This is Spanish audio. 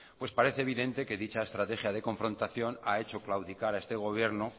pues parece evidente que dicha estrategia de confrontación ha hecho claudicar a este gobierno